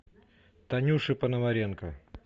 танюше пономаренко